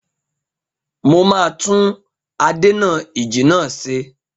Mo máa tún adènà-ìjì náà ṣe.